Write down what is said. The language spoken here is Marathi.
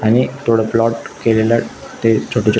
आणि थोड प्लाॅट केलेल ते छोट छोट--